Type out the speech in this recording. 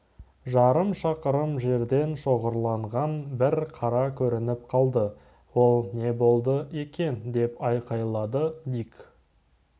жарым шақырым жерден шоғырланған бір қара көрініп қалды ол не болды екен деп айқайлады дик